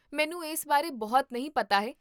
ਮੈਨੂੰ ਇਸ ਬਾਰੇ ਬਹੁਤ ਨਹੀਂ ਪਤਾ ਹੈ